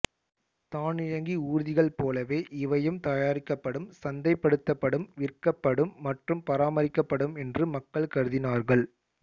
தானியங்கி ஊர்திகள் போலவே இவையும் தயாரிக்கப்படும் சந்தைப்படுத்தப்படும் விற்கப்படும் மற்றும் பராமரிக்கப்படும் என்று மக்கள் கருதினார்கள்